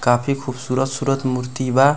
काफी खूबसूरत सूरत मूर्ति बा।